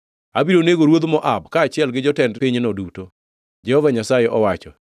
Abiro nego ruodh Moab kaachiel gi jotend pinyno duto,” Jehova Nyasaye owacho.